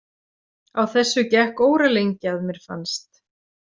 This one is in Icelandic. Á þessu gekk óralengi að mér fannst.